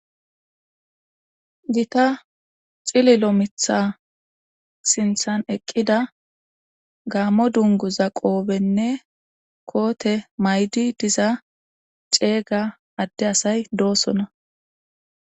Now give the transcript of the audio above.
Gita xili lo mitha sinthan eqqida gaammo dungu za qoobenne koote maydi diza ceega adde asay doosona.